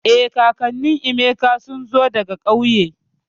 Eh, kakannin Emeka sun zo daga kauye